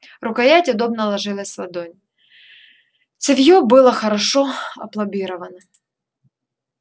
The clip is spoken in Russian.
рукоять удобно ложилась в ладонь цевьё было хорошо опломбировано